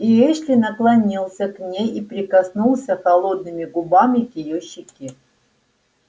и эшли наклонился к ней и прикоснулся холодными губами к её щеке